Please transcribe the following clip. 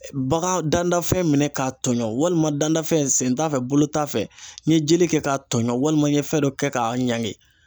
Bagan dandanfɛn minɛn k'a tɔɲɔn walima dandanfɛn sen t'a fɛ bolo t'a fɛ n ye jelen kɛ k'a tɔɲɔ walima n ye fɛn dɔ kɛ k'a ɲangi.